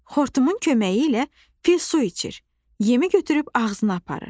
Xortumun köməyi ilə fil su içir, yemi götürüb ağzına aparır.